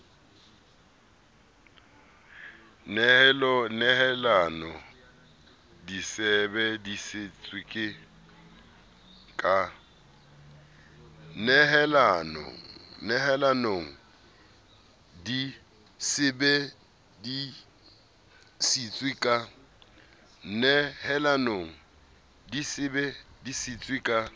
nehelanong di sebe disitswe ka